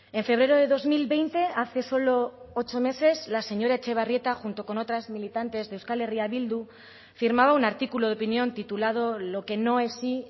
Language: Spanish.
en febrero de dos mil veinte hace solo ocho meses la señora etxebarrieta junto con otras militantes de euskal herria bildu firmaba un artículo de opinión titulado lo que no es sí